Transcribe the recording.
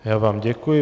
Já vám děkuji.